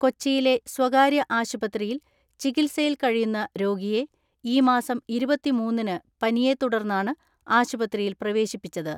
കൊച്ചിയിലെ സ്വകാര്യ ആശുപത്രിയിൽ ചികിത്സയിൽ കഴിയുന്ന രോഗിയെ ഈമാസം ഇരുപത്തിമൂന്നിന് പനിയെ തുടർന്നാണ് ആശുപത്രിയിൽ പ്രവേശിപ്പിച്ചത്.